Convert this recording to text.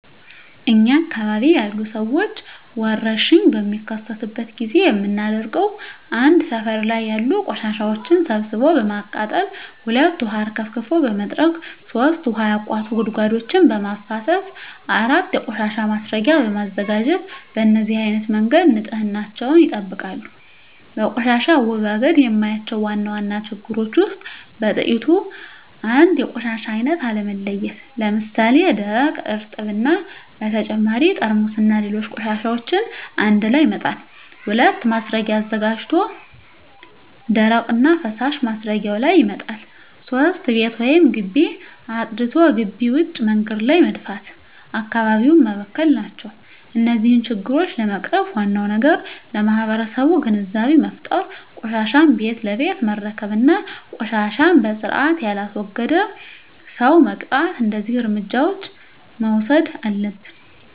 እኛ አካባቢ ያሉ ሠዎች ወርሽኝ በሚከሰትበት ጊዜ የምናደርገው 1. ሠፈር ላይ ያሉ ቆሻሻዎችን ሠብስቦ በማቃጠል 2. ውሀ አርከፍክፎ በመጥረግ 3. ውሀ ያቋቱ ጉድጓዶችን በማፋሠስ 4. የቆሻሻ ማስረጊያ በማዘጋጀት በነዚህ አይነት መንገድ ንፅህናቸውን ይጠብቃሉ። በቆሻሻ አወጋገድ የማያቸው ዋና ዋና ችግሮች ውስጥ በጥቂቱ 1. የቆሻሻ አይነት አለመለየት ለምሣሌ፦ ደረቅ፣ እርጥብ እና በተጨማሪ ጠርሙስና ሌሎች ቆሻሻዎችን አንድላይ መጣል። 2. ማስረጊያ ተዘጋጅቶ ደረቅና ፈሣሽ ማስረጊያው ላይ መጣል። 3. ቤት ወይም ግቢ አፅድቶ ግቢ ውጭ መንገድ ላይ በመድፋት አካባቢውን መበከል ናቸው። እነዚህን ችግሮች ለመቅረፍ ዋናው ነገር ለማህበረሠቡ ግንዛቤ መፍጠር፤ ቆሻሻን ቤት ለቤት መረከብ እና ቆሻሻን በስርአት የላስወገደን ሠው መቅጣት። እደዚህ እርምጃዎች መውሠድ አለብን።